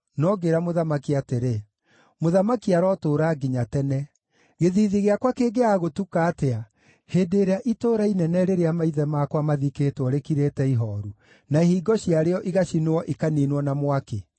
no ngĩĩra mũthamaki atĩrĩ, “Mũthamaki arotũũra nginya tene! Gĩthiithi gĩakwa kĩngĩaga gũtuka atĩa hĩndĩ ĩrĩa itũũra inene rĩrĩa maithe makwa mathikĩtwo rĩkirĩte ihooru, na ihingo ciarĩo igacinwo ikaniinwo na mwaki?”